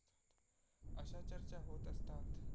अशा चर्चा होत असतात.